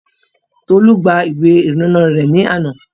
Tolú gba ìwé ìrìnnà rẹ̀ ní àná